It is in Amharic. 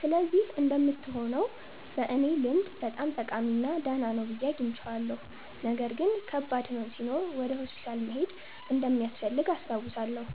ስለዚህ እንደምትሆነው በእኔ ልምድ በጣም ጠቃሚ እና ደህና ነው ብዬ አግኝቼዋለሁ። ነገር ግን ከባድ ሕመም ሲኖር ወደ ሆስፒታል መሄድ እንደሚያስፈልግ አስታውሳለሁ።